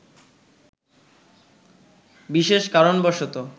বিশেষ কারণবশত